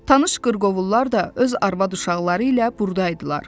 Tanış qırqovullar da öz arvad-uşaqları ilə buradaydılar.